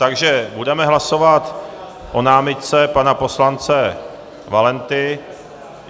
Takže budeme hlasovat o námitce pana poslance Valenty.